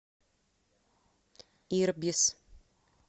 ирбис